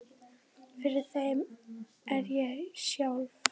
Fyrir þeim er ég sjálf